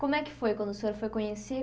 Como é que foi quando o senhor foi conhecer?